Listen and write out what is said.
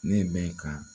Ne bɛ ka